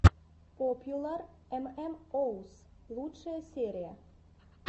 попьюлар эм эм оус лучшая серия